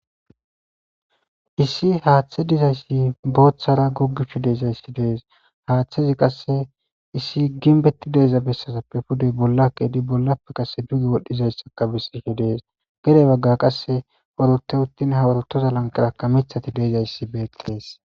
issi haaththe dizayssi booththara goggishu deezayssi dees haaththezi qasse issi ginbetti deeza bessazappe pudey bolla keedi bollappe qase dugi wodhdhizayssaka bissishe dees gere bagga qasse orote uttin haworotoza lankarakka mithati deezayssi beeqqees